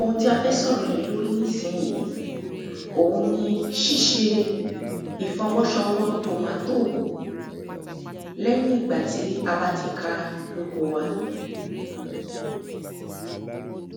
Òun tí a fẹ́ sọ̀rọ̀ lè lórí nísìnyìí ̀oun ni ṣiṣe ìfọwọ́ṣọwọ́ tomatoe lẹ́yìn ìgbà tí a bá ti ka ní oko wa